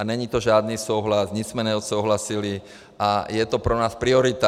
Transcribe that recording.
A není to žádný souhlas, nic jsme neodsouhlasili a je to pro nás priorita.